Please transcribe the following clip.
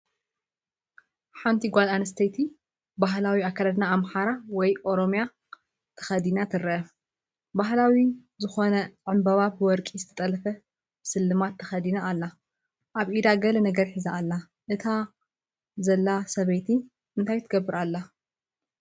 ሓንቲ ጓል ኣንስተይቲ ባህላዊ ኣከዳድና ኣምሓራ ወይ ኦሮሚያ ተኸዲና ትርአ። ባህላዊ ዝኾነ ዕምባባን ብወርቂ ዝተጠልፈ ስልማትን ተኸዲና ኣላ። ኣብ ኢዳ ገለ ነገር ሒዛ ኣላ፡ እታ ዘላ ሰበይቲ እንታይ ትገብር ኣላ?